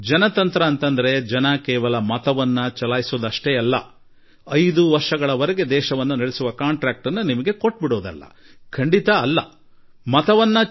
ಜನರು ಮತದಾನ ಮಾಡಿ 5 ವರ್ಷಗಳ ವರೆಗೆ ದೇಶ ನಡೆಸಲು ನಿಮಗೆ ಗುತ್ತಿಗೆ ನೀಡಿಬಿಡುವುದು ಪ್ರಜಾಪ್ರಭುತ್ವದ ಅರ್ಥವಲ್ಲ ಎಂದು ನಾನು ಸದಾ ಹೇಳುವೆ